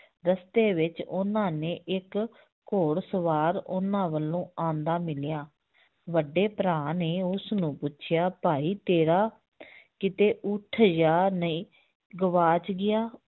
ਰਸਤੇ ਵਿੱਚ ਉਹਨਾਂ ਨੇ ਇੱਕ ਘੋੜ ਸਵਾਰ ਉਹਨਾਂ ਵੱਲੋਂ ਆਉਂਦਾ ਮਿਲਿਆ ਵੱਡੇ ਭਰਾ ਨੇ ਉਸਨੂੰ ਪੁੱਛਿਆ ਭਾਈ ਤੇਰਾ ਕਿਤੇ ਉਠ ਜਾਂ ਨਹੀਂ ਗਵਾਚ ਗਿਆ